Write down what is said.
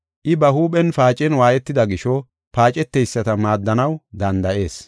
I ba huuphen paacen waayetida gisho paaceteyisata maaddanaw danda7ees.